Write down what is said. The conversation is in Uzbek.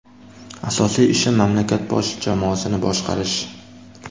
Asosiy ishim mamlakat bosh jamoasini boshqarish.